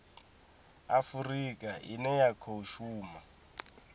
afurika ine ya khou shuma